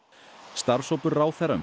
starfshópur ráðherra um